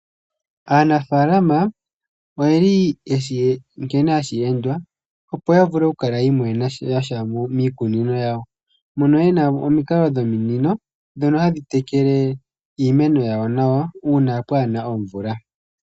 Aanafaalama oyeli yeshi nkene hashi endwa opo ya vule oku kala ya imonena sha miikunino yawo. Mono yena omikalo dhominino, ndhono hadhi tekele iimeno yawo nawa uuna kaapu na omvula.